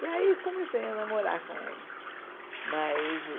E aí comecei a namorar com ele mas